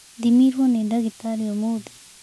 Thĩmirwo nĩ ndagitarĩ ũmũthĩ.